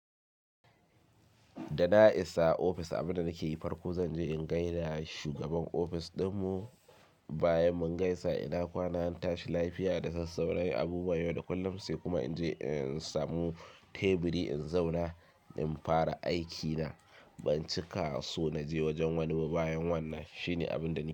Da na isa ofis abinda nake yi farko zanje in gaida da shugaban ofis ɗinmu, bayan mun gaisa ina kwana, in tashi lafiya da sassauran abubuwan yau da kullum sai kuma inje in samu teburi in zauna in fara aikina. Ban cika so naje wajen wani ba bayan wannan. Shine abinda nake yi.